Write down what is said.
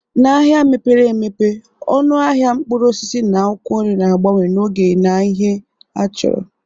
N'ahịa mepere emepe, ọnụ ahịa mkpụrụ osisi na akwụkwọ nri na-agbanwe n'oge na ihe achọrọ